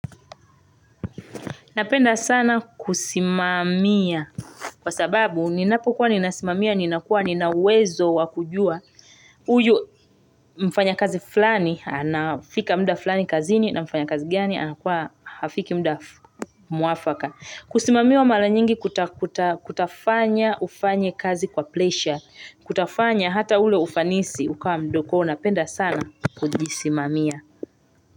Napenda sana kusimamia kwa sababu ninapokuwa ninasimamia ninakuwa ninauwezo wakujua huyu mfanyakazi fulani anafika muda fulani kazini na mfanyakazi gani anakuwa hafiki muda muafaka. Kusimamiwa mara nyingi kutafanya ufanye kazi kwa pleasure Kutafanya hata ule ufanisi ukawa mdogo Napenda sana kujisimamia.